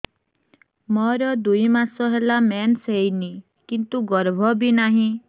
ମୋର ଦୁଇ ମାସ ହେଲା ମେନ୍ସ ହେଇନି କିନ୍ତୁ ଗର୍ଭ ବି ନାହିଁ